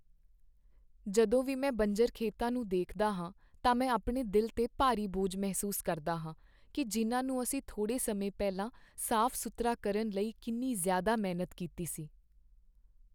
ਜਦੋਂ ਵੀ ਮੈਂ ਬੰਜਰ ਖੇਤਾਂ ਨੂੰ ਦੇਖਦਾ ਹਾਂ ਤਾਂ ਮੈਂ ਆਪਣੇ ਦਿਲ 'ਤੇ ਭਾਰੀ ਬੋਝ ਮਹਿਸੂਸ ਕਰਦਾ ਹਾਂ ਕਿ ਜਿਨ੍ਹਾਂ ਨੂੰ ਅਸੀਂ ਥੋੜ੍ਹੇ ਸਮੇਂ ਪਹਿਲਾਂ ਸਾਫ਼ ਸੁਥਰਾ ਕਰਨ ਲਈ ਕਿੰਨੀ ਜ਼ਿਆਦਾ ਮਿਹਨਤ ਕੀਤੀ ਸੀ